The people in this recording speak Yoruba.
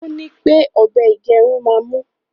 òní pé ọbẹ igerun má mú.